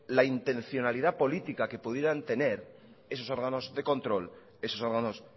la intencionalidad política que pudieran tener esos órganos de control esos órganos